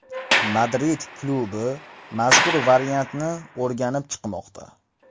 Madrid klubi mazkur variantni o‘rganib chiqmoqda.